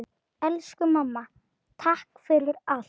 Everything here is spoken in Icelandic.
Elsku mamma, takk fyrir allt!